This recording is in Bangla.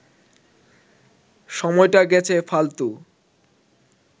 সময়টা গেছে ফালতু